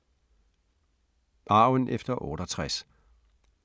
Arven efter 68